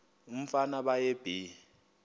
umfana baye bee